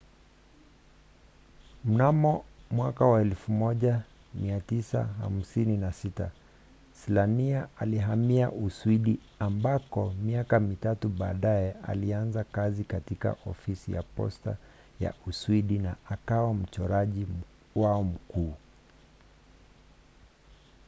mnamo 1956 slania alihamia uswidi ambako miaka mitatu baadaye alianza kazi katika ofisi ya posta ya uswidi na akawa mchoraji wao mkuu